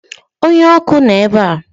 Onye ọkụ nọ ebe a